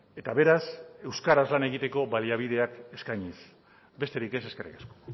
eta beraz euskaraz lan egiteko baliabideak eskainiz besterik ez eskerrik asko